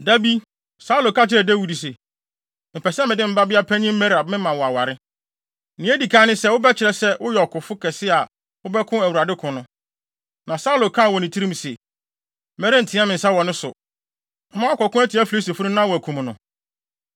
Da bi, Saulo ka kyerɛɛ Dawid se, “Mepɛ sɛ mede me babea panyin Merab ma wo aware. Nea edi kan ne sɛ wobɛkyerɛ sɛ woyɛ ɔkofo kɛse a wobɛko Awurade ko no.” Na Saulo kaa wɔ ne tirim se, “Merenteɛ me nsa wɔ ne so. Mɛma wakɔko atia Filistifo no na wɔakum no.”